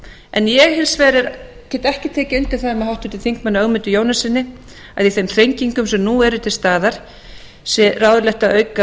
en ég get hins vegar ekki tekið undir það með háttvirtum þingmanni ögmundi jónassyni að í þeim þrengingum sem nú eru til staðar sé ráðlegt að auka